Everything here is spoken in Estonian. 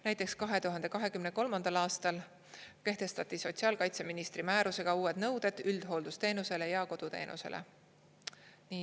Näiteks 2023. aastal kehtestati sotsiaalkaitseministri määrusega uued nõuded üldhooldusteenusele ja koduteenusele.